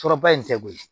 Tɔrɔba in tɛ koyi